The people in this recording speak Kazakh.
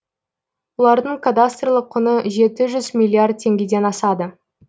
олардың кадастрлық құны жеті жүз миллиард теңгеден асады